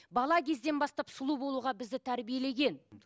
бала кезден бастап сұлу болуға бізді тәрбиелеген